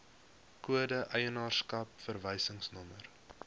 kode eienaarskap verwysingsnommer